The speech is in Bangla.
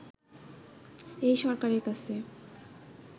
এই সরকারের কাছে